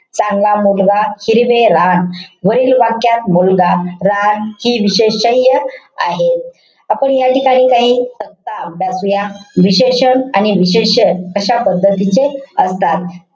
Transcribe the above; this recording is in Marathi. चांगला मुलगा. हिरवे रान. वरील वाक्यात मुलगा, रान हि विषेशय्य आहे. आपण या ठिकाणी काही तक्ता अभ्यासूया. विशेषण आणि विशेष्य कशा पद्धतीचे असतात.